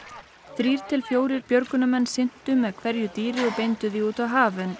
þrír til fjórir björgunarmenn syntu með hverju dýri og beindu þeim út á haf en